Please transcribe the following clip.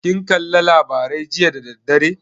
Kin kalla labarai jiya da dadaddare?